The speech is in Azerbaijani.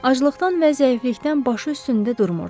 Acılıqdan və zəiflikdən başı üstündə durmurdu.